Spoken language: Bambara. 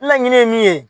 Laɲini ye min ye